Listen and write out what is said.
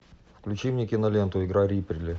включи мне киноленту игра рипли